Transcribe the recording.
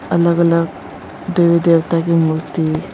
अलग अलग देवी देवता की मूर्ति है।